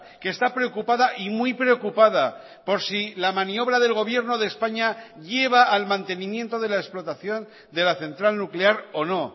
que está preocupada y muy preocupada por si la maniobra del gobierno de españa lleva al mantenimiento de la explotación de la central nuclear o no